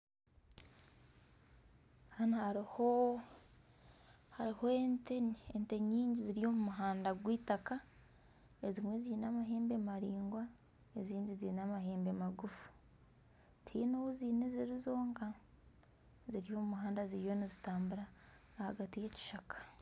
Hanu hariho ente nyingi ziri omumuhanda gweitaka ezimwe ziine amahembe maraingwa eziimwe ziine amahembe magufu tihaine ou ziine ziri zonka ziri omu muhanda ziriyo nizitambura ahagati y'ebishaka .